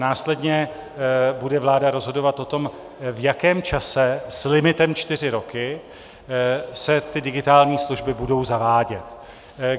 Následně bude vláda rozhodovat o tom, v jakém čase s limitem čtyři roky se ty digitální služby budou zavádět.